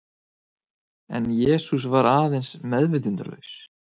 En Jesús var aðeins meðvitundarlaus.